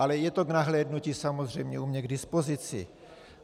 Ale je to k nahlédnutí samozřejmě u mě k dispozici.